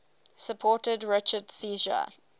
supported richard's seizure